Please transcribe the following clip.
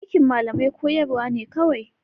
Aikin malamai koyarwa ne kawai.